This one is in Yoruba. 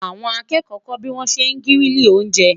àwọn akẹkọ kò bi wọn ṣẹ grili oúnjẹ